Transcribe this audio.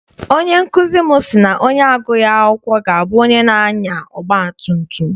Onye nkụzi m si na onye agughị akwụkwọ ga abụ onye na-anya ọgba tum tum.